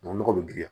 Nɔgɔ be girin